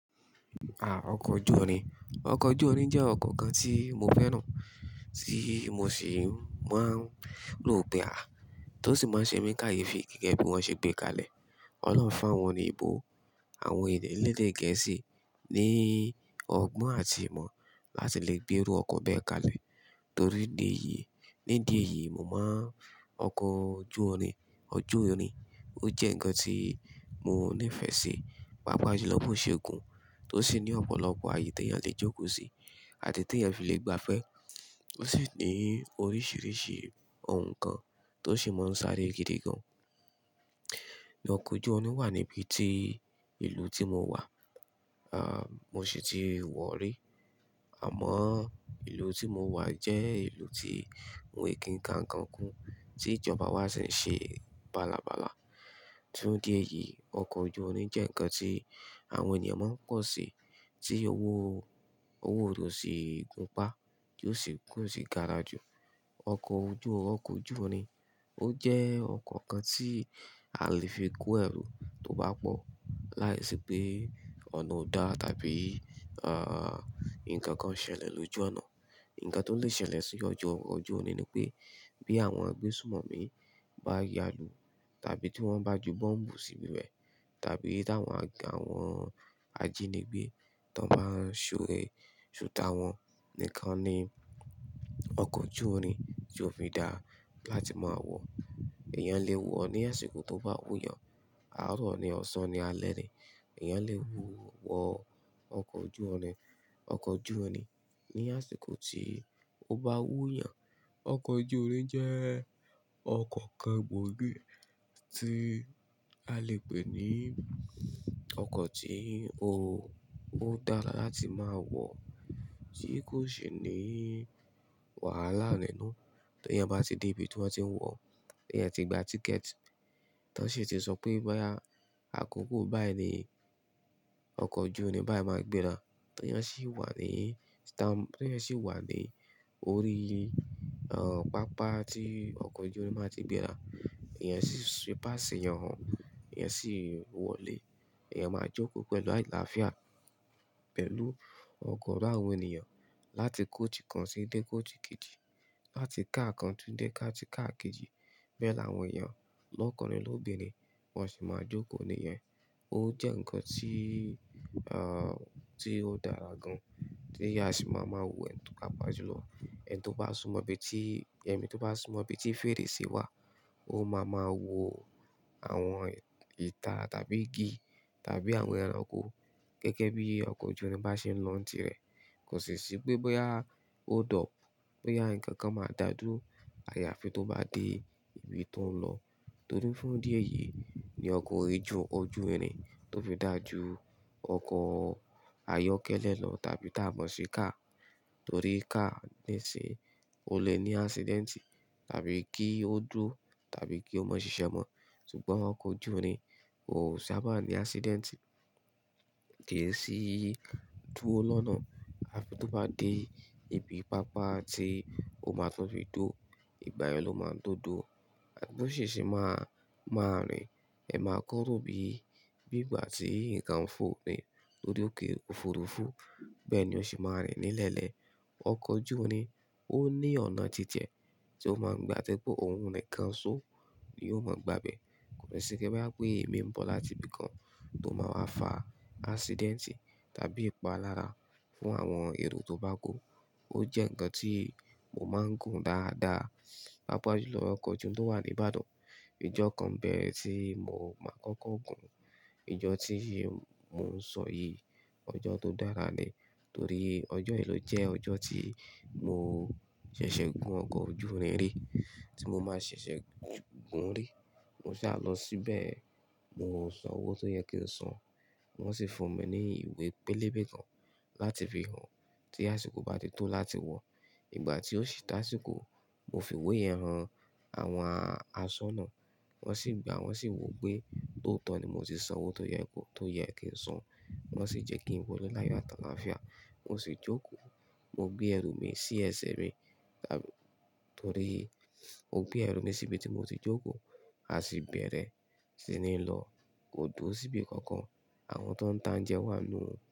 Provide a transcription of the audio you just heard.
Ah ọkọ̀ ojú irin, ọkọ̀ ojú irin jẹ́ ọkọ̀ kan tí mo fẹ́ràn, tí mo sì máa ń lò pé a, tó sì máa ń ṣe mí ni káyefi gẹ́gẹ́ bí wón ṣe gbé kalẹ̀. Ọlọ́hun fún àwọn òyìnbó, àwọn ènìyàn elédè Gẹ̀ẹ́sì ní ọgbọ́n àti ìmọ̀ láti le gbé erú ọkọ̀ bẹ́ẹ̀ kalẹ̀. Torí ìdí èyí, ní ìdí èyí mo má n ọkọ̀ ojú irin, ojú irin, ó jẹ́ ǹkan tí mo nífẹ̀ẹ́ sí, pàápàá jùlọ bó ṣe gùn, tó sì ní ọ̀pọ̀lọpọ̀ ààyè tí èèyàn lè jókòó sí àti tí èèyàn fi lè gba fẹ́. Ó sì ní oríṣìíríṣìí ohun kan tó sì máa ń sáré gidigan. Ni ọkọ̀ ojú irin wà níbi tí ìlú tí mo wà, ah mo sì ti wọ̀ọ́ rí. Àmọ́ ìlú tí mo wà jẹ́ ìlú tí wọn ò kì n ka ǹkan kún tí ìjọba wa sì ń ṣe bálabàla. Fún ìdí èyí ọkọ̀ ojú irin jẹ́ ǹkan tí àwọn ènìyàn máa ń pọ̀ sí, tí owó, owó rẹ̀ ò sì gún pá, kò sì gara jù. Ọkọ̀ ojú, ọkọ̀ ojú irin, ó jẹ́ ọkọ̀ kan tí a lè fi kó ẹrù tó bá pọ̀ láìsí pé ọ̀nà ò dá tàbí ah ǹkan kan ṣẹlẹ̀ lójú ọ̀nà. Ǹkan tó lè ṣẹlẹ̀ sí ojú ọkọ̀ ojú irin ni pé bí àwọn agbésùnmọ̀mí bá ya lùú tàbí tí wọ́n bá ju bọ́m̀bù sínúi rẹ̀ tàbí tí àwọn, àwọn ajínigbé tó máa ń ṣore, ṣùtá wọn. Nìkan ni ọkọ̀ ojú irin tí ó fi dá láti máa wọ̀. Ẹ̀yàn lè wọ̀ ó ní àsìkò tó bá wúyàn, àárọ̀ ni, ọ̀sán ni, alẹ́ ni, ẹ̀yàn lè wọ̀ ó ọkọ̀ ojú irin, ọkọ̀ ojú irin ní àsìkọ̀ tí ó bá wúyàn. Ọkọ̀ ojú irin jẹ́ ọkọ̀ kan gbòógì tí a lè pè ní ọkọ̀ tí ó, ó dára láti máa wọ̀ tí kò sì ní wàhálà nínú. Tí èèyàn bá dé ibi tí wọ́n tí ń wọ̀, tí èèyàn tí gba tíkẹ̀tì, tí wọ́n sì ti sọ pé bóyá, àkókò báyìí ni ọkọ̀ ojú irin báyìí máa gbéra. Tí èèyàn sì wà ní stamp, tí èèyàn sì wà ní orí ah pápá tí ọkọ̀ ojú irin máa ti gbera, èèyàn sì fi pass hàn wọ́n, èèyàn sì wọlé, èèyàn máa jókòó pẹ̀lú àìláàfíà pẹ̀lú ọ̀gọ́rọ́ àwọn ènìyàn láti coach kan sí dé coach kejì, láti káà kan tún dé ká ti káà kejì. Bẹ́ẹ̀ làwọn èèyàn lọ́kùnrin, lóbinrin wọ́n sì máa jókòó nìyẹn. Ó jẹ́ ǹkan tí ah tí ó dára gan, tí èèyàn a sì máa ma wọ̀ ẹ́ tún pàápàá jùlọ. Ẹni tó bá súmọ̀ ibi tí, ẹni tí ó bá súmọ̀ ibí tí fèrèsé wà, ó máa ma wò àwọn ìta tàbí igi tàbí àwọn ẹranko gẹ́gẹ́ bí ọkọ̀ ojú irin bá ṣe ń lọ ntiẹ̀. Kò sì ṣí pé bóyá hold up, bóyá ǹkan kan máa da dúró, àyàfi tó bá dé ibi tó ń lọ. Torí fún ìdí èyí ni ọkọ̀ ojú, ojú irin tó fi dà ju ọkọ̀ ayọ́kẹ́lẹ́ lọ tàbí tábọ̀sì káà. Torí káà nísínyí o lè ní accident tàbí kí ó dúró tàbí kí ó mọ ṣiṣẹ́ mọ́. Sugbọn ọkọ̀ ojú irin ò sábà ní accident kèésì dúró lọ́nà. Àfi tó bá dé ibi pápá tí ó máa tó fi dúró, ìgbà yẹn ló máa tó dúró. Àh tó sì se máa, máa rìn, ẹ máa kọ́ rò bí, bí ìgbà tí ǹkan ń fò ni lòrí òkè òfurufú. Bẹ́ẹ̀ ni ó sì máa rìn nílẹ̀ ẹlẹ́. Ọkọ̀ ojú irin ó ní ọ̀nà titi ẹ tí ó máa ń gba tí ó jẹ́ pé ohun nìkan só ni yóò ma gbabẹ̀. Kò sí pé bóyá pé ìmíì ń bọ̀ láti ibìkan tó máa wá fa accident tàbí ìpa lára fún àwọn èrò tó bá kù. Ó jẹ́ ǹkan tí mo máa ń gùn dáadáa, pàápàá jùlọ ọkọ̀ ojú irin tó wà ní Ìbàdàn. Ìjọ́ kan n bẹ tí mo máa kọ́kọ́ gù-ún. Ìjọ́ tí yìí mo ń sọ yìí, ọjọ́ tó dára ni torí ọjọ́ yìí ló jẹ́ ọjọ́ tí mo ṣẹ̀ṣẹ̀ gun ọkọ̀ ojú irin rí, tí mo máa ṣẹ̀ṣẹ̀ gùn-ún rí. Mo sá lọ síbẹ̀, mo san owó tó yẹ kí n san, wọ́n sì fún mi ní ìwé pélébé kan láti fi hàn tí àsìkò bá ti tó láti wọ̀. Ìgbà tí ó sì tásìkò, mo fi ìwé yẹn hàn àwọn aṣọ́nà, wọ́n sì gbàá, wọ́n sì wò ó pé tòótọ́ ni mo ti san owó tó yẹ, tó yẹ kí n san. Wọ́n sì jẹ́ kí n wọ̀le láyọ̀ ati àláfíà. Mo sì jókòó, mo gbé ẹrù mi sí ẹsẹ̀ mi tàbí torí mo gbé ẹrù mi sí ibi tí mo ti jókòó, a sì bẹ̀rẹ̀ sí ní lọ kò dúró sí ibi kankan àwọn tó ń ta óúnjẹ wà nínú ẹ̀.